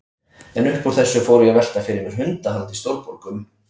En upp úr þessu fór ég að velta fyrir mér hundahaldi í stórborgum.